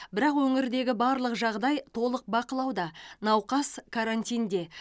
бірақ өңірдегі барлық жағдай толық бақылауда науқас карантинде